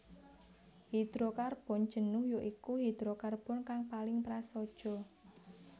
Hidrokarbon jenuh ya iku hidrokarbon kang paling prasaja